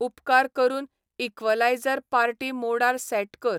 उपकार करून equaliser party मोडार सॅट कर